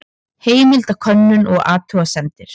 Heimildakönnun og athugasemdir.